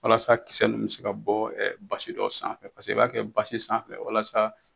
Walasa kisɛsɛ ninnu bɛ se ka bɔ basi dɔ sanfɛ paseke i b'a kɛ basi sanfɛ fɛ walasa